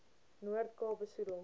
noord kaap besoedel